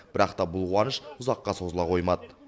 бірақ та бұл қуаныш ұзаққа созыла қоймады